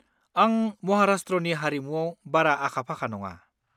आं महाराष्ट्रनि हारिमुआव बारा आखा-फाखा नङा।